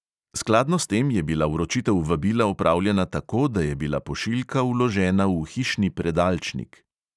Skladno s tem je bila vročitev vabila opravljena tako, da je bila pošiljka vložena v hišni predalčnik.